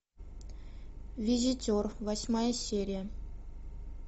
визитер восьмая серия